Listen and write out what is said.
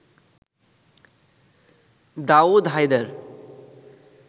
Daud Haider